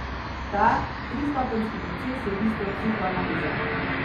Ta, tristopenjski proces je bistvo psihoanalize.